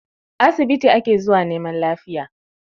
Asibiti ake zuwa neman lafiya